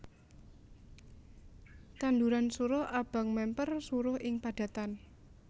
Tanduran suruh abang mèmper suruh ing padatan